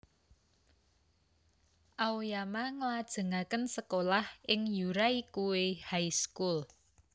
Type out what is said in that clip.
Aoyama nglajengaken sekolah ing Yuraikuei High School